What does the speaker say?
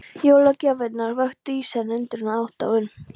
Jólagjafirnar vöktu í senn undrun og aðdáun.